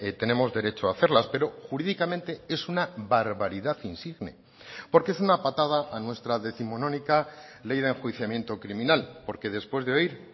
tenemos derecho a hacerlas pero jurídicamente es una barbaridad insigne porque es una patada a nuestra décimonónica ley de enjuiciamiento criminal porque después de oír